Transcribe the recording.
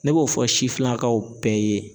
Ne b'o fɔ sifinnakaw bɛɛ ye